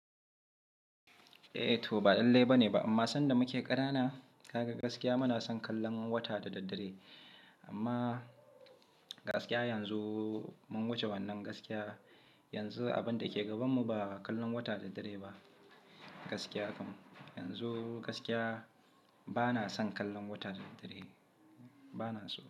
Eh to ba dan lallai bane ba, amma sanda muke kanana kaga gaskiya muna son kallon wata da daddare. Amma gaskiya yanzu mun wuce wannan gaskiya, yanzu abin da ke gabanmu ba kallon wata da daddare ba, gaskiya kam yanzu gaskiya bana son kallon wata da daddare, bana so.